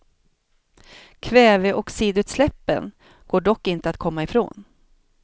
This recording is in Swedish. Kväveoxidutsläppen går dock inte att komma ifrån.